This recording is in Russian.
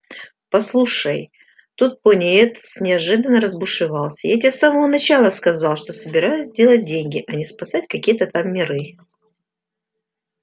послушай тут пониетс неожиданно разбушевался я тебе с самого начал сказал что собираюсь делать деньги а не спасать какие-то там миры